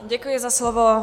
Děkuji za slovo.